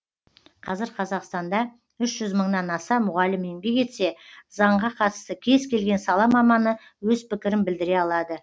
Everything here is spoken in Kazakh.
қазір қазақстанда үш жүз мыңнан аса мұғалім еңбек етсе заңға қатысты кез келген сала маманы өз пікірін білдіре алады